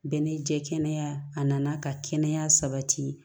Bɛɛ n'i jɛ kɛnɛya a nana ka kɛnɛya sabati